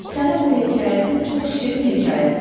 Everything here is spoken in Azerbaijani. Sənin bu hekayətin çox şirin hekayətdir.